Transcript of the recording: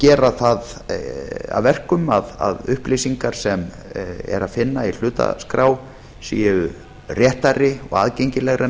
gera það að verkum að upplýsingar sem er að finna í hlutaskrá séu réttari og aðgengilegri en